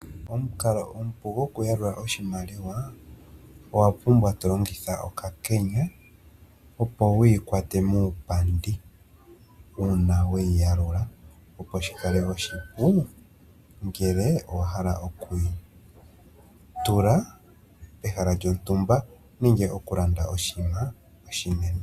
Omukalo omupu goku yalula oshimaliwa, owa pumbwa to longitha okakenya opo wiikwate muupandi, uuna weyi yalula opo shi kale oshipu ngele owa hala okuyi tula pehala lyontumba nenge oku landa oshiima oshinene.